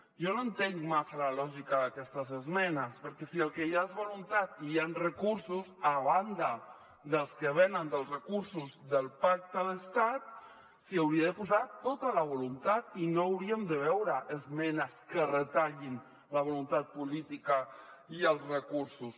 jo no entenc massa la lògica d’aquestes esmenes perquè si el que hi ha és voluntat i hi han recursos a banda dels que venen dels recursos del pacte d’estat s’hi hauria de posar tota la voluntat i no hauríem de veure esmenes que retallin la voluntat política i els recursos